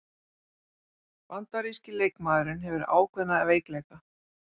Bandaríski leikmaðurinn hefur ákveðna veikleika